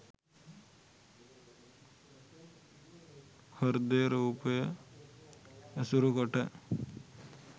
හෘදය රූපය ඇසුරු කොට